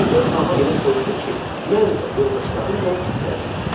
Birdən hava elə soyudu ki, mən də, yoldaşlarım da titrədik.